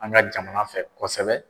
An ka jamana fɛ kɔsɛbɛ.